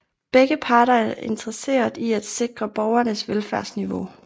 Begge parter er interesseret i at sikre borgerenes velfærdsniveau